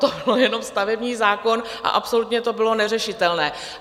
To byl jenom stavební zákon a absolutně to bylo neřešitelné.